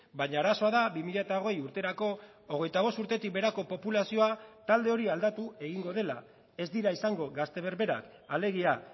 baina arazoa da bi mila hogei urterako hogeita bost urtetik beherako populazioa talde hori aldatu egingo dela ez dira izango gazte berberak alegia